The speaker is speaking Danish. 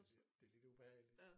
Det det lidt ubehageligt